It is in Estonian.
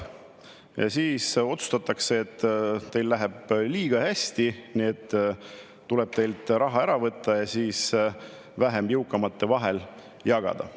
Ja siis otsustatakse, et teil läheb liiga hästi, tuleb teilt raha ära võtta ja see vähem jõukamate vahel jagada.